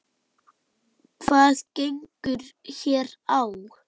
Hvað gengur hér á?